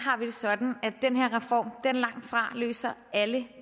har vi det sådan at den reform langt fra løser alle